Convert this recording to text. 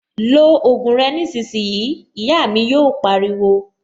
Lo ògùn rẹ nísìnyìí', Ìyá mi yò pariwo